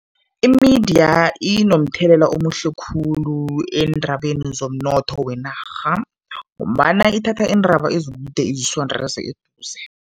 Imidiya inomthelela omuhle khulu eendabeni zomnotho wenarha ngombana ithatha iindaba ezikude izisondeze eduze.